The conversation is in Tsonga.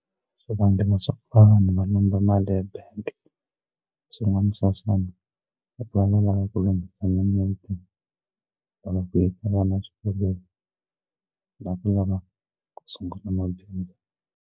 Swivangelo swa vanhu va lomba mali ya bank swin'wana swa swona i ku va va lava ku lunghisa mimiti ku yisa vana xikolweni la ku lava ku sungula mabindzu.